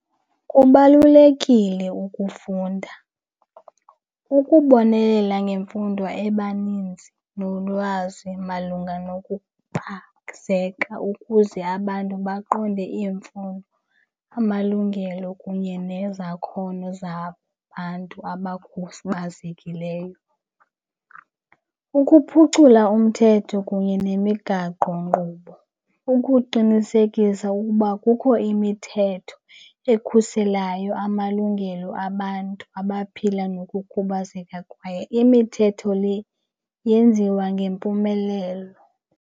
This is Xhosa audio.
Kubalulekile ukufunda, ukubonelela ngemfundo ebaninzi nolwazi malunga nokukhubazeka ukuze abantu baqonde iimfuno, amalungelo kunye nezakhono zabantu abakhubazekileyo. Ukuphucula umthetho kunye nemigaqonkqubo, ukuqinisekisa ukuba kukho imithetho ekhuselayo amalungelo abantu abaphila nokukhubazeka kwaye imithetho le yenziwa ngempumelelo.